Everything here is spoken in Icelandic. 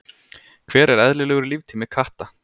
hver er eðlilegur líftími katta